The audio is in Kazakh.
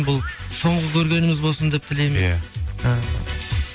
бұл соңғы көргеніміз болсын деп тілейміз иә і